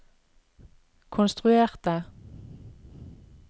konstruerte